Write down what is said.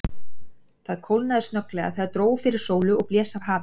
Það kólnaði snögglega, þegar dró fyrir sól og blés af hafi.